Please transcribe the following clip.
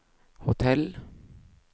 hotell